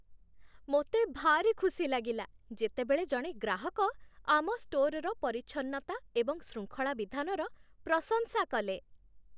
ମୋତେ ଭାରି ଖୁସି ଲାଗିଲା, ଯେତେବେଳେ ଜଣେ ଗ୍ରାହକ ଆମ ଷ୍ଟୋର୍‌‌ର ପରିଚ୍ଛନ୍ନତା ଏବଂ ଶୃଙ୍ଖଳା ବିଧାନର ପ୍ରଶଂସା କଲେ।